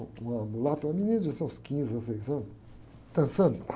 uma mulata, uma menina de seus quinze, dezesseis anos, dançando.